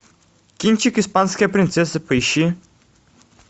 кинчик испанская принцесса поищи